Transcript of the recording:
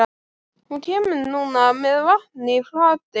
Hún kemur núna með vatn í fati.